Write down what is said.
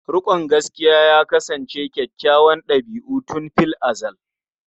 Riƙon gaskiya ya kasance kyakkyawar ɗabi'a tun fil azal.